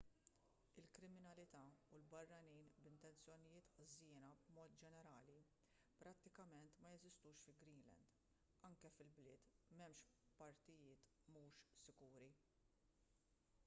il-kriminalità u l-barranin b'intenzjonijiet ħżiena b'mod ġenerali prattikament ma jeżistux fi greenland anke fil-bliet m'hemmx partijiet mhux sikuri